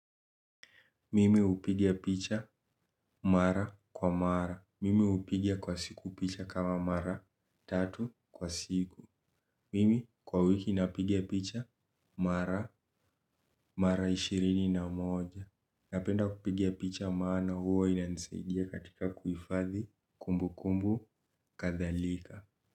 Mimi hupiga picha mara kwa mara. Mimi hupiga kwa siku picha kama mara tatu kwa siku. Mimi kwa wiki napiga picha mara mara ishirini na moja. Napenda kupiga picha maana huwa inansaidia katika kufadhi kumbu kumbu kathalika.